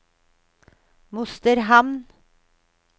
Mosterhamn